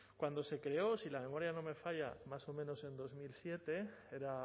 cuando se creó si la memoria no me falla más o menos en dos mil siete era